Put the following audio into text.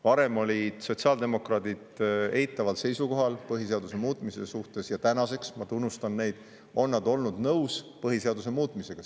Varem olid sotsiaaldemokraadid eitaval seisukohal põhiseaduse muutmise suhtes, aga tänaseks, ma tunnustan neid, on nad olnud nõus põhiseaduse muutmisega.